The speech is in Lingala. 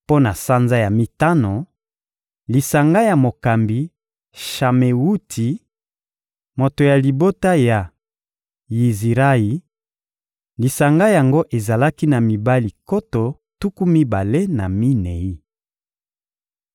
Mpo na sanza ya mitano: lisanga ya mokambi Shamewuti, moto ya libota ya Yizirayi; lisanga yango ezalaki na mibali nkoto tuku mibale na minei.